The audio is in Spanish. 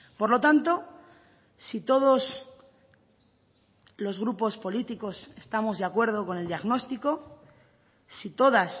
por lo tanto si todos los grupos políticos estamos de acuerdo con el diagnóstico si todas